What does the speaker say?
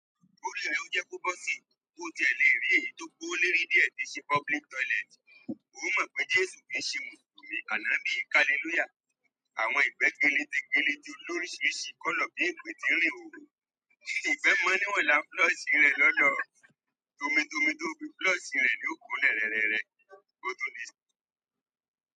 Ó jẹ́ kó bọ́ síbi tó tiẹ̀ lè rí èyí tó kó léèérí díẹ̀ tí ṣe public toilet. Ó mọ̀ pé Jésù kì í ṣe Mùsùlùmí àná bí i Kálílúyà. Àwọn ìgbẹ́ gẹ́lẹ́dẹ́gẹ́lẹ́ tí ó lóríṣìíríṣìí kọ́lọ̀ bí ń pè tí rìn hóhó. Ìgbẹ́ mọ ní wà láà flush rẹ̀ lọ́lọ́. Tómitomi tó fí flush rẹ̀ ni ó kunlẹ̀ rẹ́rẹ́ rẹ̀.